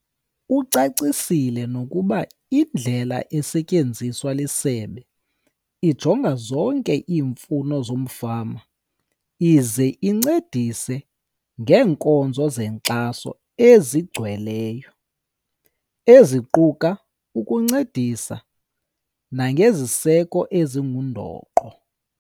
Ucacisile nokuba indlela esetyenziswa lisebe ijonga zonke iimfuno zomfama ize incedise ngeenkonzo zenkxaso ezigcweleyo, eziquka ukuncedisa nangeziseko ezingundoqo.